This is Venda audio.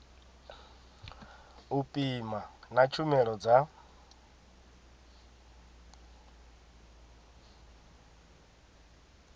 u pima na tshumelo dza